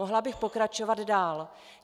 Mohla bych pokračovat dál.